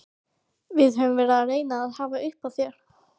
Við höfum verið að reyna að hafa upp á þér.